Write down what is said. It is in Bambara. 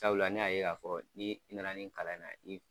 Sabula ne y'a ye k'a fɔ ni i na na nin kalan in na